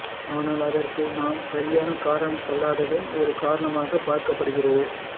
ஆனால் அதற்கு நாம் சரியான காரணம் செல்லாததும் ஒரு காரணமாக பார்க்கப்படுகின்றது